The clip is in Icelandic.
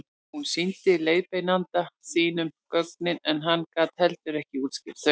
hún sýndi leiðbeinanda sínum gögnin en hann gat heldur ekki útskýrt þau